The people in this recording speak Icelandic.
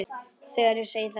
Þegar ég segi þetta við